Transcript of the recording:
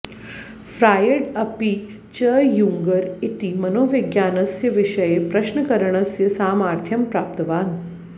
Freud अपि च यूङ्गर इति मनोविज्ञानस्य विषये प्रश्नकरणस्य सामार्थ्यं प्राप्तवान्